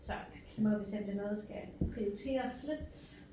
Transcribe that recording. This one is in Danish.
Så nu må vi se om det er noget der skal prioriteres lidt